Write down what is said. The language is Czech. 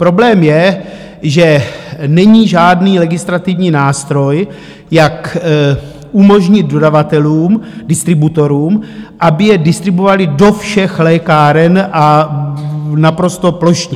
Problém je, že není žádný legislativní nástroj, jak umožnit dodavatelům, distributorům, aby je distribuovali do všech lékáren a naprosto plošně.